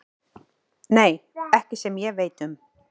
Nei, ekki sem ég veit um.